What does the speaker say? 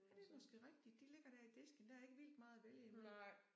Ja det måske rigtigt. De ligger der i disken der er ikke vildt meget at vælge imellem